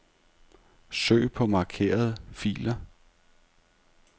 Søg på markerede filer.